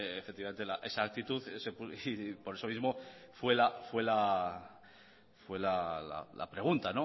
efectivamente esa actitud por eso mismo fue la pregunta